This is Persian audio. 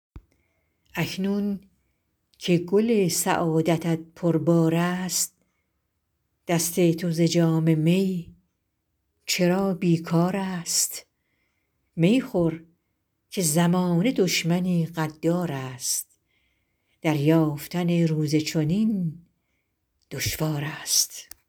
اکنون که گل سعادتت پربار است دست تو ز جام می چرا بیکار است می خور که زمانه دشمنی غدار است دریافتن روز چنین دشوار است